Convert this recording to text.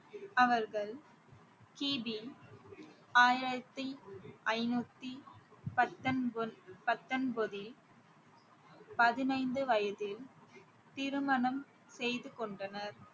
அவர்கள் கிபி ஆயிரத்தி ஐநூத்தி பத்தொன்~ பத்தொன்பதில் பதினைந்து வயதில் திருமணம் செய்து கொண்டனர்